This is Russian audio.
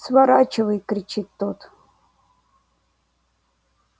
сворачивай кричит тот